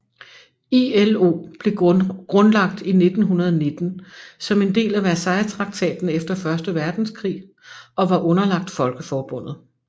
ILO blev grundlagt i 1919 som en del af Versaillestraktaten efter første verdenskrig og var underlagt Folkeforbundet